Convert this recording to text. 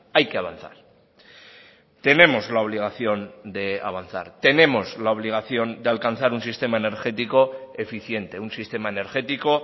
hay que avanzar tenemos la obligación de avanzar tenemos la obligación de alcanzar un sistema energético eficiente un sistema energético